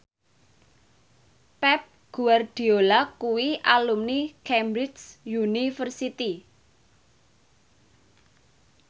Pep Guardiola kuwi alumni Cambridge University